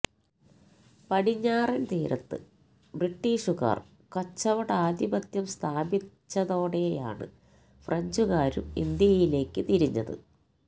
പടിഞ്ഞാറൻ തീരത്ത് ബ്രിട്ടീഷുകാർ കച്ചവടാധിപത്യം സ്ഥാപിച്ചതോടെയാണ് ഫ്രഞ്ചുകാരും ഇന്ത്യയിലേക്ക് തിരിഞ്ഞത്